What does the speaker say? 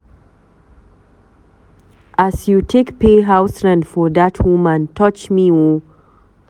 As you take pay house rent for dat woman touch me o.